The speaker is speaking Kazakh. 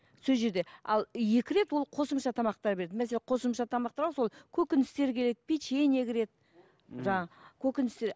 сол жерде ал екі рет ол қосымша тамақтар береді мәселен қосымша тамақтарға сол көкөністер кіреді печенье кіреді жаңағы көкөністер